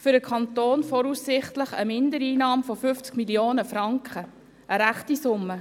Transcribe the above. Für den Kanton würde dies voraussichtlich Mindereinnahmen von 50 Mio. Franken bedeuten.